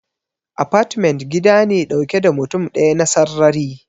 Apartment gida ne dauke da mutum daya na sarrari.